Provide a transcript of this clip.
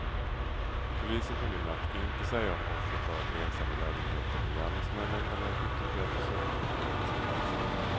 Polisen kunde i natt inte säga om offret varit ensam i lägenheten med gärningsmännen eller om ytterligare personer funnits på platsen.